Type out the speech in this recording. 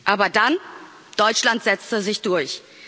Aber dann Deutschland setzte sich durch.